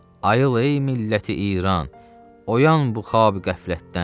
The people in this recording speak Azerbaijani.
Ayıl ey Milləti-İran, oyan xuab-qəflətdən.